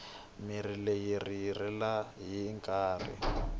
mirhi leyi hindzeriweke hi nkarhi